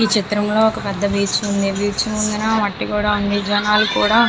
ఈ చిత్రం లో ఒక పెద్ధ బీచ్ ఉంది బీచ్ ముందల మట్టి కూడా ఉంది జనాలు కూడా --